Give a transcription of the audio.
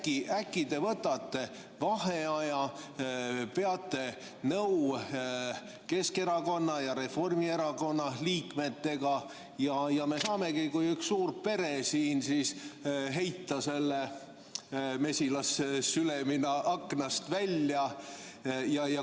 Nii et äkki te võtate vaheaja, peate nõu Keskerakonna ja Reformierakonna liikmetega ja me saamegi kui üks suur pere siin heita selle mesilassülemina aknast välja.